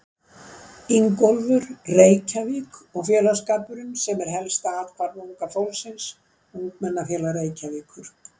Ingólfur, Reykjavík- og félagsskapurinn sem er helsta athvarf unga fólksins: Ungmennafélag Reykjavíkur.